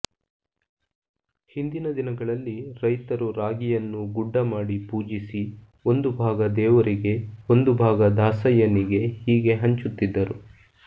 ಹಿಂದಿನ ದಿನಗಳಲ್ಲಿ ರೈತರು ರಾಗಿಯನ್ನು ಗುಡ್ಡ ಮಾಡಿ ಪೂಜಿಸಿ ಒಂದು ಭಾಗ ದೇವರಿಗೆ ಒಂದು ಭಾಗ ದಾಸಯ್ಯನಿಗೆ ಹೀಗೆ ಹಂಚುತ್ತಿದ್ದರು